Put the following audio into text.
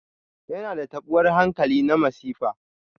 Yana da taɓuwar hankali na masifa.